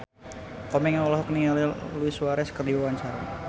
Komeng olohok ningali Luis Suarez keur diwawancara